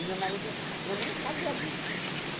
E meu marido, eu nem sabia disso.